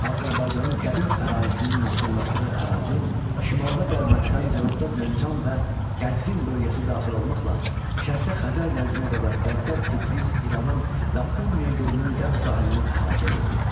Azərbaycanın qədim əhalisinin məskunlaşdığı ərazi şimalda Dərbənddən, cənubda Zəncan və Qəzvin bölgəsi daxil olmaqla şərqdə Xəzər dənizinə qədər, qərbdə Tiflis, İrəvan və Urmiya gölünün qərb sahilini əhatə edirdi.